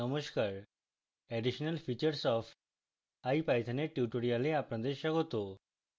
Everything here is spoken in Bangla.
নমস্কার additional features of ipython এর tutorial আপনাদের স্বাগত